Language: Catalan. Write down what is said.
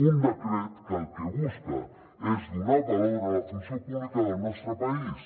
un decret que el que busca és donar valor a la funció pública del nostre país